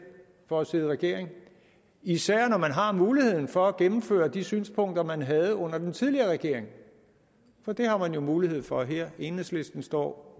for at sidde i regering især når man har mulighed for at gennemføre de synspunkter man havde under den tidligere regering det har man jo mulighed for her i enhedslisten står